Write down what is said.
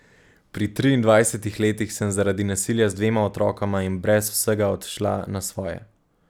Pri triindvajsetih letih sem zaradi nasilja z dvema otrokoma in brez vsega odšla na svoje.